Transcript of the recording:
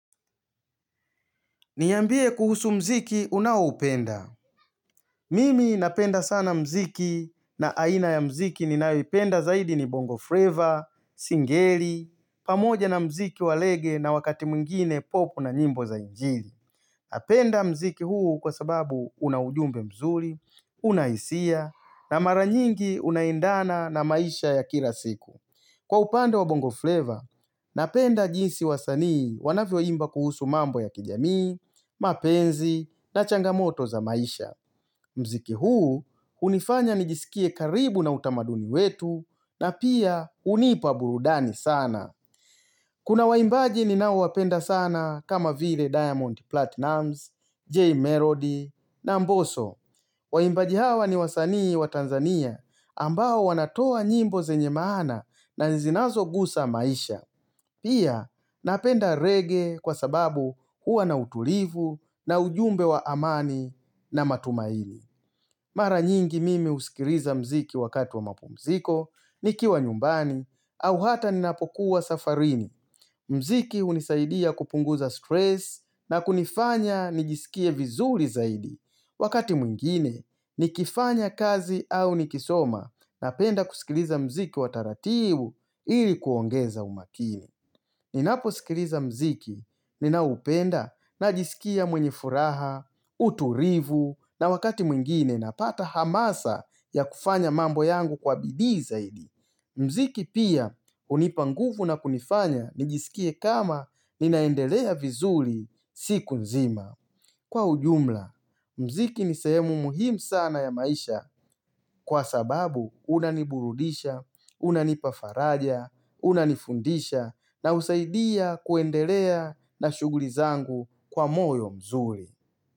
Niambie kuhusu muziki unaoupenda. Mimi napenda sana muziki, na aina ya muziki ninawyoipenda zaidi ni bongo flavor, singeli, pamoja na mziki wa reggae na wakati mwingine pop na nyimbo za injili. Napenda muziki huu kwa sababu una ujumbe mzuri, una hisia na mara nyingi unaendana na maisha ya kila siku. Kwa upande wa bongo flavor, napenda jinsi wasanii wanavyoimba kuhusu mambo ya kijamii, mapenzi na changamoto za maisha. Muziki huu, hunifanya nijisikie karibu na utamaduni wetu na pia hunipa burudani sana. Kuna waimbaji ninaowapenda sana kama vile Diamond Platnumz, Jay Melody na Mbosso. Waimbaji hawa ni wasanii wa Tanzania, ambao wanatoa nyimbo zenye maana na zinazogusa maisha. Pia napenda reggae kwa sababu huwa na utulivu na ujumbe wa amani na matumaini. Mara nyingi mimi husikiliza muziki wakati wa mapumziko, nikiwa nyumbani au hata ninapokuwa safarini. Muziki hunisaidia kupunguza stress na kunifanya nijisikie vizuri zaidi. Wakati mwingine, nikifanya kazi au nikisoma napenda kusikiliza muziki wa taratibu ili kuongeza umakini. Ninaposikiliza muziki, ninaupenda najisikia mwenye furaha, utulivu na wakati mwingine napata hamasa ya kufanya mambo yangu kwa bidii zaidi. Muziki pia hunipa nguvu na kunifanya nijisikie kama ninaendelea vizuri siku nzima. Kwa ujumla, muziki ni sehemu muhimu sana ya maisha kwa sababu unaniburudisha, unanipa faraja, unanifundisha na husaidia kuendelea na shuguli zangu kwa moyo mzuri.